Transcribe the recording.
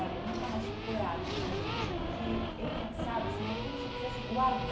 Olha, eu nunca mais tive coragem de comer isso, porque é engraçado, assim, é como se eu quisesse